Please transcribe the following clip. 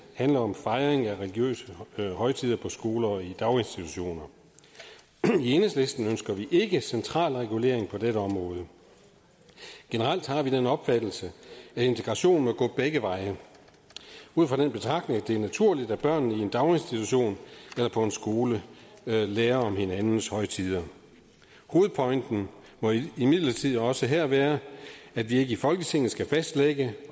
handler om fejring af religiøse højtider på skoler og i daginstitutioner i enhedslisten ønsker vi ikke central regulering på dette område generelt har vi den opfattelse at integration må gå begge veje ud fra den betragtning at det er naturligt at børnene i en daginstitution eller på en skole lærer om hinandens højtider hovedpointen må imidlertid også her være at vi ikke i folketinget skal fastlægge